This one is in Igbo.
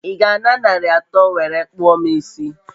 I ga a na nari atọ nwere kpụọ m isi?